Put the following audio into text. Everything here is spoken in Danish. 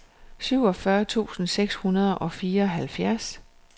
syvogfyrre tusind seks hundrede og fireoghalvfjerds